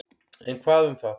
En hvað um það.